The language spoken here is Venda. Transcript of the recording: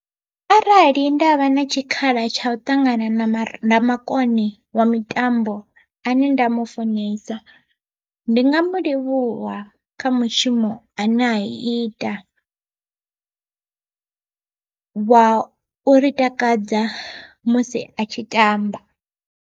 Arali ndavha na tshikhala tsha u ṱangana na ramakone wa mitambo ane nda mufunesa, ndi nga mu livhuwa kha mushumo ane au ita wa u ri takadza musi a tshi tamba.